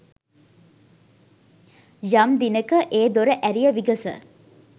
යම් දිනෙක ඒ දොර ඇරිය විගස